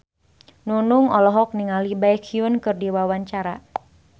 Nunung olohok ningali Baekhyun keur diwawancara